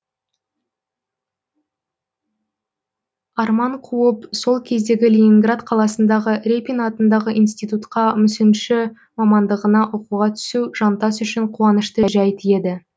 арман қуып сол кездегі ленинград қаласындағы репин атындағы институтқа мүсінші мамандығына оқуға түсу жантас үшін қуанышты жәйт еді